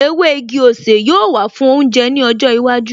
Ewé igi-osè yóò wà fún oúnjẹ ní ọjọ́ iwájú